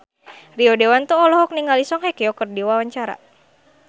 Rio Dewanto olohok ningali Song Hye Kyo keur diwawancara